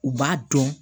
U b'a dɔn